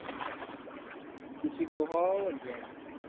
କିଛି କହ ଅର କେଁ